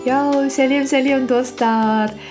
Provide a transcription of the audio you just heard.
иә сәлем сәлем достар